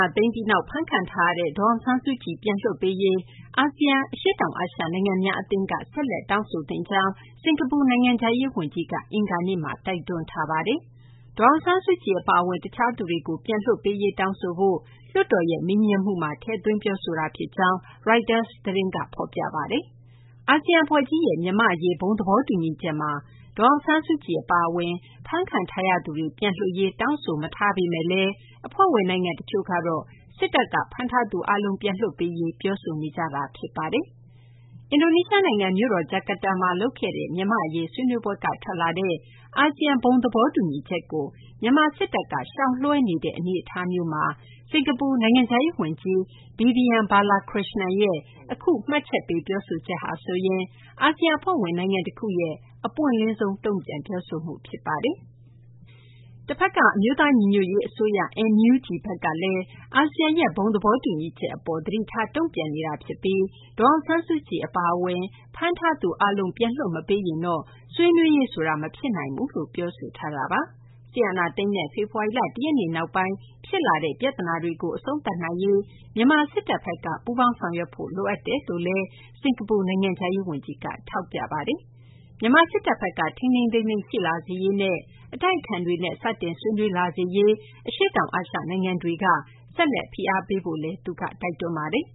ာသိမ်းပြီးနောက် ဖမ်းခံထားရတဲ့ ဒေါ်အောင်ဆန်းစုကြည် ပြန်လွှတ်ပေးရေး အာဆီယံ- အရှေ့တောင် အာရှ နိုင်ငံများ အသင်းက ဆက်လက် တောင်းဆိုသင့်ကြောင်း စကာၤပူ နိုင်ငံခြားရေး ဝန်ကြီးက အင်္ဂါနေ့မှာ ပြောပါတယ်။ ဒေါ်အောင်ဆန်းစုကြည် အပါအဝင် တခြားသူတွေကို ပြန်လွှတ်ပေးရေး တောင်းဆိုဖို့ လွှတ်တော်ရဲ့ မေးမြန်းမှုမှာ ထည့်သွင်း ပြောဆိုခဲ့တာ ဖြစ်ကြောင်း ရိုက်တာ သတင်းက ဖော်ပြပါတယ်။ အာဆီယံ အဖွဲ့ကြီးရဲ့ မြန်မာ့ အရေး ဘုံသဘောတူညီချက်မှာ ဒေါ်အောင်ဆန်းစုကြည် အပါအဝင် ဖမ်းခံထားရသူတွေ ပြန်လွှတ်ရေး တောင်းဆိုမထားပေမယ့်လည်း အဖွဲ့ဝင် နိုင်ငံ တချို့ကတော့ စစ်တပ်က ဖမ်းထားသူ အားလုံး ပြန်လွှတ်ပေးရေး ပြောဆိုထားတာ ဖြစ်ပါတယ်။ အင်ဒိုနီးရှား နိုင်ငံ မြို့တော် ဂျာကာတာမှာ လုပ်ခဲ့တဲ့ မြန်မာ့ အရေး ဆွေးနွေးပွဲက ထွက်လာတဲ့ အာဆီယံ ဘုံသဘောတူညီချက်ကို မြန်မာ စစ်တပ်က ရှောင်လွှဲနေတဲ့ အနေအထားမျိုးမှာ စကာၤပူ နိုင်ငံခြားရေး ဝန်ကြီး Vivian Balakrishnan ရဲ့ အခု မှတ်ချက်က အာဆီယံ အဖွဲ့ဝင် နိုင်ငံ တခုရဲ့ အပွင့်လင်းဆုံး တုံ့ပြန်ပြောဆိုမှု ဖြစ်ပါတယ်။ တဖက်က အမျိုးသား ညီညွတ်ရေး အစိုးရ - NUG ဘက်ကလည်း အာဆီယံရဲ့ ဘုံသဘောတူညီချက် အပေါ် သတိထား တုံ့ပြန်ထားတာ ဖြစ်ပြီး ဒေါ်အောင်ဆန်းစုကြည် အပါအဝင် ဖမ်းထားသူ အားလုံး ပြန်လွှတ် မပေးရင်တော့ ဆွေးနွေးရေး ဆိုတာ မဖြစ်နိုင်ဘူးလို့ ပြောဆိုထားတာပါ။ စစ်အာဏာသိမ်းတဲ့ ဖေဖော်ဝါရီလ ၁ ရက်နေ့ နောက်ပိုင်း ဖြစ်လာတဲ့ ပြသနာတွေကို အဆုံးသတ်နိုင်ရေး မြန်မာ စစ်တပ်ဘက်က ပူးပေါင်းဆောင်ရွက်ဖို့ လိုအပ်တယ်လို့လည်း စကာၤပူ နိုင်ငံခြားရေး ဝန်ကြီးက ပြောပါတယ်။ မြန်မာ စစ်တပ်ဘက်က ထိန်းထိန်းသိမ်းသိမ်း ရှိလာစေရေးနဲ့ အတိုက်အခံတွေနဲ့ စတင်ဆွေးနွေး လာစေရေး အတွက် အရှေ့တောင် အာရှ နိုင်ငံတွေက ဆက်လက် ဖိအားပေးရေးလည်း သူက တိုက်တွန်းပါတယ်